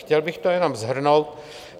Chtěl bych to jenom shrnout.